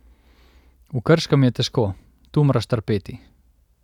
V Krškem je težko, tu moraš trpeti.